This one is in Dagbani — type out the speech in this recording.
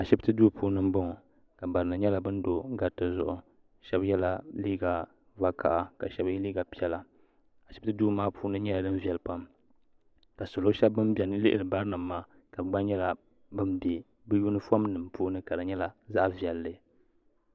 A shibiti duu puuni n boŋɔ ka barinim nyɛ ban do di puuni shɛbɛ yɛla liiga vakaha ka shɛbi ye liiga a piɛla a shibiti duu maa puuni nyɛla din viɛli pam ka salo shɛbi ban lihiri bari nim maa ka bɛ gna nyɛla ba bɛ bɛ yunifom nim puuni ka di nyɛla zaɣi viɛli